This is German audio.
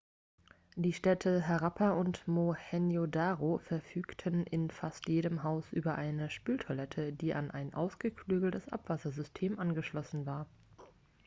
die städte harappa und mohenjo-daro verfügten in fast jedem haus über eine spültoilette die an ein ausgeklügeltes abwassersystem angeschlossen war